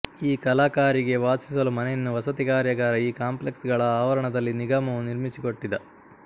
ಈ ಕಲಾಕಾರಿಗೆ ವಾಸಿಸಲು ಮನೆಯನ್ನು ವಸತಿ ಕಾರ್ಯಗಾರ ಈ ಕಾಂಪ್ಲೆಕ್ಸ್ ಗಳ ಆವರಣದಲ್ಲಿ ನಿಗಮವು ನಿರ್ಮಿಸಿಕೊಟ್ಟಿದ